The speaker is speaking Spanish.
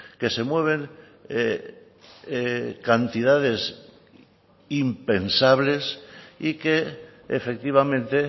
que se mueven cantidades impensables y que efectivamente